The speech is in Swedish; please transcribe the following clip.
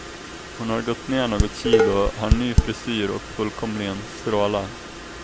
Hon har gått ner något kilo, har ny frisyr och fullkomligen strålar.